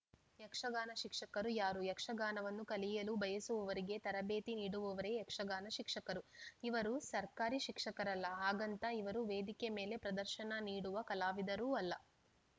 ಯಕ್ಷಗಾನ ಶಿಕ್ಷಕರು ಯಾರು ಯಕ್ಷಗಾನವನ್ನು ಕಲಿಯಲು ಬಯಸುವವರಿಗೆ ತರಬೇತಿ ನೀಡುವವರೇ ಯಕ್ಷಗಾನ ಶಿಕ್ಷಕರು ಇವರು ಸರ್ಕಾರಿ ಶಿಕ್ಷಕರಲ್ಲ ಹಾಗಂತ ಇವರು ವೇದಿಕೆ ಮೇಲೆ ಪ್ರದರ್ಶನ ನೀಡುವ ಕಲಾವಿದರೂ ಅಲ್ಲ